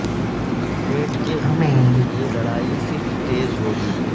پیٹ کے حصول کے لئے لڑائی صرف تیز ہو گی